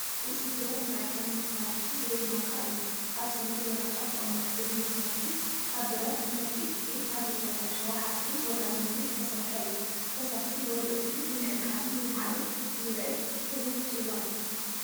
እዚ ብረት መዐቀኒ መሳርሒ ወይ ማንካ እዩ። ኣብ ሰነድ ወረቐት ይቕመጥ። እቲ መሳርሒ ካብ ብረት (መብዛሕትኡ ግዜ ካብ ዘይተበላሸወ ሓጺን ወይ ኣሉሚንየም) ዝተሰርሐ እዩ። ፈሳሲ ወይ እኽሊ ንምዕቃንን ንምልዓልን ዝውዕል ክቡብ ጽዋእ እዩ።